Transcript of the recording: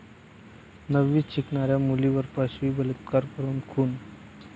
नववीत शिकणाऱ्या मुलीवर पाशवी बलात्कार करून खून